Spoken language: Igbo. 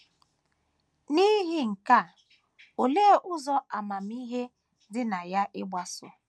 N’ihi nke a, olee ụzọ amamihe dị na ya ịgbaso?